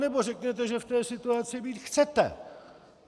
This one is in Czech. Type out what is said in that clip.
Anebo řekněte, že v té situaci být chcete.